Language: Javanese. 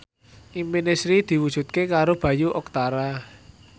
impine Sri diwujudke karo Bayu Octara